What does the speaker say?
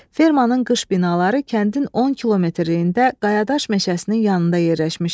Fermanın qış binaları kəndin 10 kilometrliyində qayadaş meşəsinin yanında yerləşmişdi.